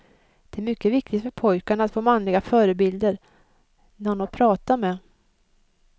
Det är mycket viktigt för pojkarna att få manliga förebilder, någon att prata med.